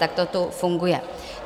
Tak to tu funguje.